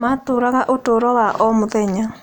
Matũũraga ũtũũro wa o mũthenya.